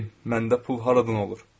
Bəyim, məndə pul haradan olur?